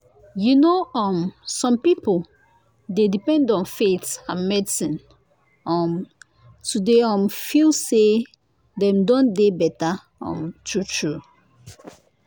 you know um some people dey depend on faith and medicine um to dey um feel say dem don dey better um true true.